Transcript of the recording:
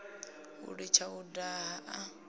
u litsha u daha a